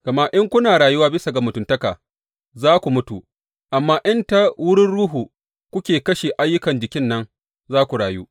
Gama in kuna rayuwa bisa ga mutuntaka, za ku mutu; amma in ta wurin Ruhu kuka kashe ayyukan jikin nan, za ku rayu.